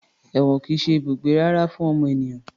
Èwọ̀n kìí ṣe ibùgbé rere fún ọmọ ènìyàn